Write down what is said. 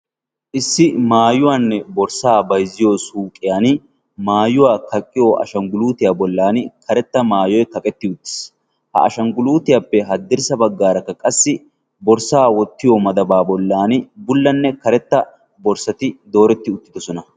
Issi maayuwaanne borssaa bayzziyo suuqiyan maayuwaa kaqqiyo ashangguluutiyaa bollan karetta maayoi kaqetti uttiis ha ashangguluutiyaappe haddirssa baggaarakka qassi borssaa wottiyo madabaa bollan bullanne karetta borssati dooretti uttidosona.